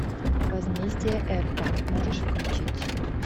возмездие эрпа можешь включить